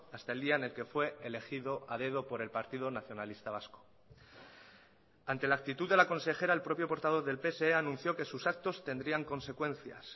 hasta el día en el que fue elegido a dedo por el partido nacionalista vasco ante la actitud de la consejera el propio portavoz del pse anunció que sus actos tendrían consecuencias